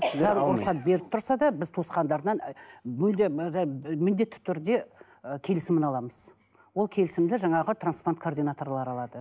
рұқсат беріп тұрса да біз туысқандарынан мүлдем міндетті түрде ы келісімін аламыз ол келісімді жаңағы трансплант координаторлар алады